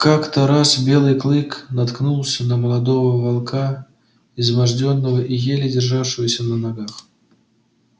как то раз белый клык наткнулся на молодого волка измождённого и еле державшегося на ногах